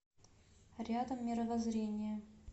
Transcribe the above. рядом мировоззрение